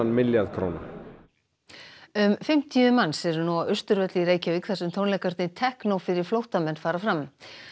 milljarð króna um fimmtíu manns eru nú á Austurvelli í Reykjavík þar sem tónleikarnir teknó fyrir flóttamenn fara fram